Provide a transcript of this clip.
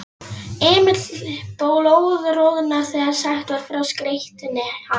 Emil blóðroðnaði þegar sagt var frá skreytni hans.